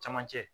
Camancɛ